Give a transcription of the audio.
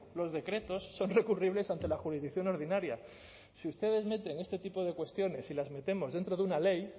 los decretos son recurribles ante la jurisdicción ordinaria si ustedes meten este tipo de cuestiones y las metemos dentro de una ley